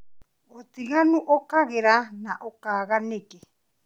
ũtiganu ũkagĩra na ũkaga nĩkĩ.